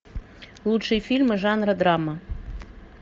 лучшие фильмы жанра драма